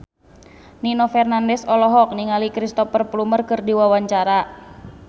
Nino Fernandez olohok ningali Cristhoper Plumer keur diwawancara